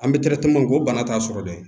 An bɛ ko bana t'a sɔrɔ dɛ